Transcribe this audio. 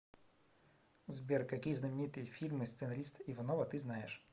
сбер какие знаменитые фильмы сценариста иванова ты знаешь